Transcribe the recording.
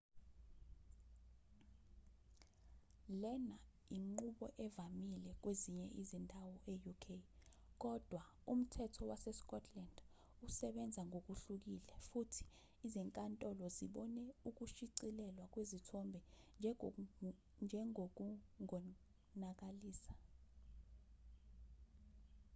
lena inqubo evamile kwezinye izindawo e-uk kodwa umthetho wasescotland usebenza ngokuhlukile futhi izinkantolo zibone ukushicilelwa kwezithombe njengokungonakalisa